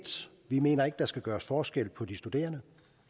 mener ikke at der skal gøres forskel på de studerende